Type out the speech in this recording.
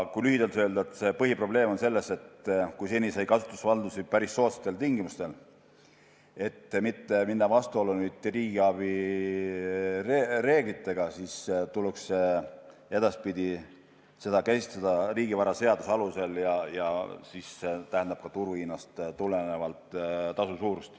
Kui lühidalt öelda, siis põhiprobleem on selles, et kui seni sai kasutusvaldusi päris soodsatel tingimustel, minemata vastuollu riigiabi reeglitega, siis edaspidi tuleks seda käsitleda riigivaraseaduse alusel ja see tähendab ka turuhinnast tulenevat tasu suurust.